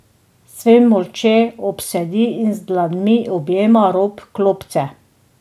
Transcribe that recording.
Sven molče obsedi in z dlanmi objema rob klopce.